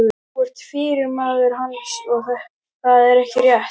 Þú ert yfirmaður hans, er það ekki rétt?